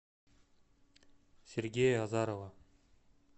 сергея азарова